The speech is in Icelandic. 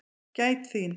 Gæt þín.